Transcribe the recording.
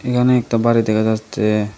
এহানে একটা বাড়ি দেখা যাচ্ছে।